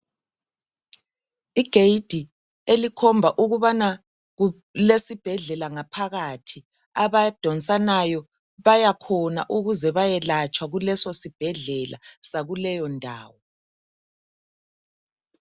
Igedi elikhomba ukubana kulesibhedlela ngaphakathi abadonsanayo bayakhona ukuze bayelatshwa kuleso sibhedlela sakuleyo ndawo..